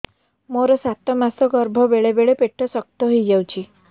ମୋର ସାତ ମାସ ଗର୍ଭ ବେଳେ ବେଳେ ପେଟ ଶକ୍ତ ହେଇଯାଉଛି